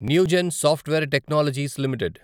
Newgen software technologies limited